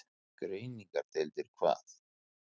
Greiningardeildir hvað?